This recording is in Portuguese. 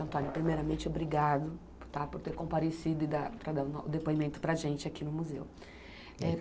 Antônio, primeiramente, obrigado tá por ter comparecido e dar estar dando o depoimento para gente aqui no museu. É